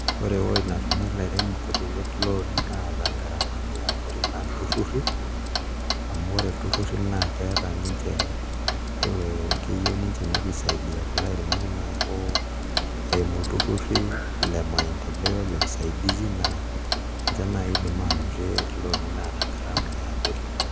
Ore ewuei natumie ilaremok looni naata garamani kutitik naa ilturruri amu ore ilturruri naa keeta ninche ee keyieu ninche nepuo aisaidia kulo airemok neeku eimu ilturruri le maendeleo le usaidizi naa ninche naai iidim aanotie looni naata garama e abori.